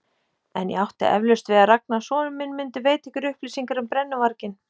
En ég átti eflaust við að Ragnar sonur minn mundi veita ykkur upplýsingar um brennuvarginn.